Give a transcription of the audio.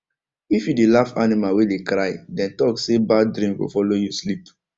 if you dey laugh animal wey dey cry dem talk say bad dream go follow you sleep